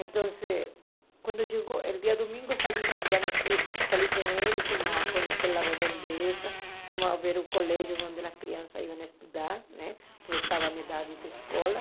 Então, quando chegou, no dia domingo, eu saí com ele, fomos conhecer a redondeza, fomos ver o colégio onde as crianças iam estudar, né porque estava na idade da escola.